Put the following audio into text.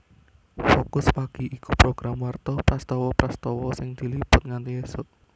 Fokus Pagi iku program warta prastawa prastawa sing diliput nganti ésuk